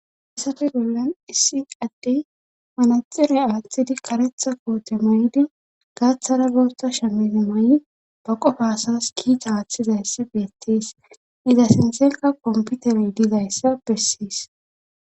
assafe bollan issi addey manaxirey aaththidi karetha koote maydi gaaththara bosta shamize ma7i baqo faasas kiita aaththizayssi beettis iza sintheka komputerey dizayssa bessiis